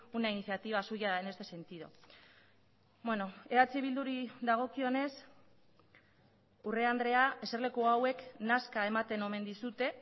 una iniciativa suya en este sentido eh bilduri dagokionez urrea andrea eserleku hauek nazka ematen omen dizute